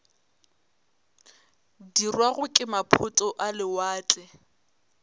dirwago ke maphoto a lewatle